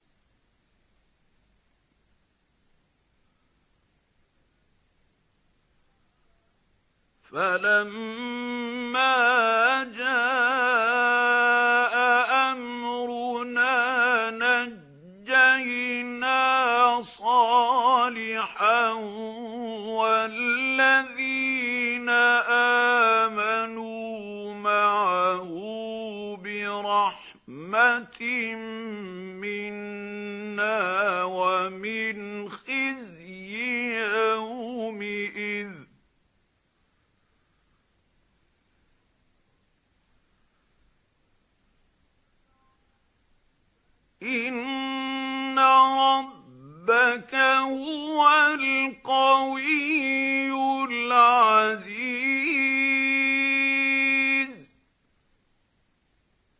فَلَمَّا جَاءَ أَمْرُنَا نَجَّيْنَا صَالِحًا وَالَّذِينَ آمَنُوا مَعَهُ بِرَحْمَةٍ مِّنَّا وَمِنْ خِزْيِ يَوْمِئِذٍ ۗ إِنَّ رَبَّكَ هُوَ الْقَوِيُّ الْعَزِيزُ